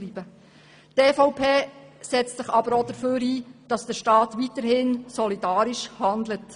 Die EVP setzt sich aber auch dafür ein, dass der Staat weiterhin solidarisch handelt.